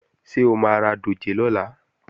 Ṣé o máa ra dòjé lọ́la?